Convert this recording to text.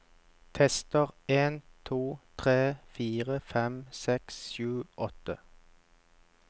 Tester en to tre fire fem seks sju åtte